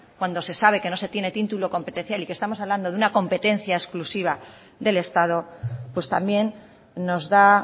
cuando se sabe que no se tiene título competencial y que estamos hablando de una competencia exclusiva del estado pues también nos da